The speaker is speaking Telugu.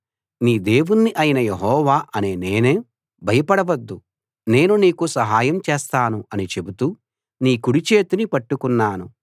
నీ దేవుణ్ణి అయిన యెహోవా అనే నేను భయపడవద్దు నేను నీకు సహాయం చేస్తాను అని చెబుతూ నీ కుడిచేతిని పట్టుకున్నాను